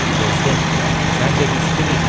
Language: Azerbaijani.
Dostum, səncə biz kimik?